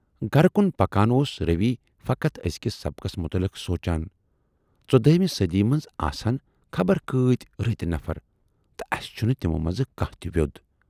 گَرٕ کُن پکان اوس رویؔ فقط ٲزۍکِس سبقَس مُتلق سونچان"ژۅدہٲمہِ صٔدی منز آسہٕ ہَن خبر کۭتۍ رٕتۍ نفر تہٕ اَسہِ چھُنہٕ تِمو منزٕ کانہہ تہِ ویود۔